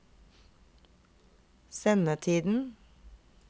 sendetiden